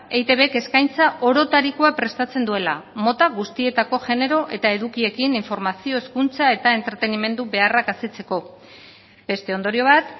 eitbk eskaintza orotarikoa prestatzen duela mota guztietako genero edo edukiekin informazio hezkuntza eta entretenimendu beharrak asetzeko beste ondorio bat